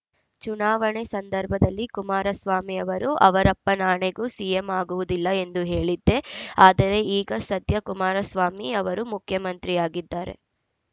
ಚುನಾವಣೆ ಸಂದರ್ಭದಲ್ಲಿ ಕುಮಾರಸ್ವಾಮಿ ಅವರು ಅವರಪ್ಪನಾಣೆಗೂ ಸಿಎಂ ಆಗುವುದಿಲ್ಲ ಎಂದು ಹೇಳಿದ್ದೆ ಆದರೆ ಈಗ ಸದ್ಯ ಕುಮಾರಸ್ವಾಮಿ ಅವರು ಮುಖ್ಯಮಂತ್ರಿಯಾಗಿದ್ದಾರೆ